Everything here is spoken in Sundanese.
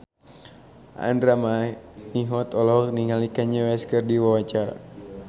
Andra Manihot olohok ningali Kanye West keur diwawancara